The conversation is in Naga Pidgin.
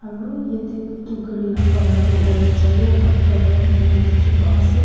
aru yete gari la colour tu orange aru white colour huigena dikhi pa se.